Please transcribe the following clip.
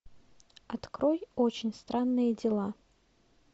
открой очень странные дела